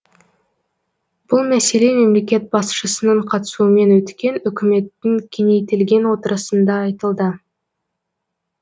бұл мәселе мемлекет басшысының қатысуымен өткен үкіметтің кеңейтілген отырысында айтылды